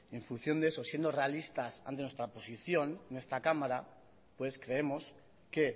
en función de eso siendo realistas ante nuestra posición en esta cámara pues creemos que